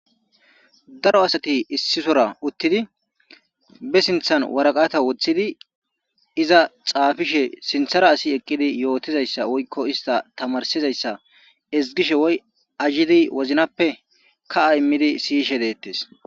daro asati issisora uttidi be sinthan waraqata woththidi iza xaafishe sinthara asi eqqidi yootizayssa woykko ista tamarsizayssa ezgishe woy ajidi woznappe kaa immidi siyishe deettes